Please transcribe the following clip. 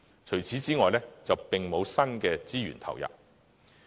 除此之外，並沒有新的資源投入。